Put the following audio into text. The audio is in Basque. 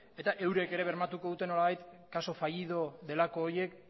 eta eurek ere bermatu beharko dute nolabait caso fallido delako horiek